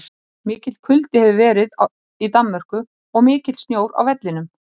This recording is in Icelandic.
Mikill kuldi hefur verið í Danmörku og mikill snjór á vellinum.